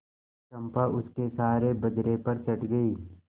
चंपा उसके सहारे बजरे पर चढ़ गई